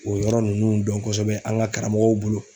O yɔrɔ nunnu dɔn kɔsɛbɛ an ga karamɔgɔw bolo